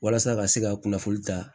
Walasa ka se ka kunnafoni ta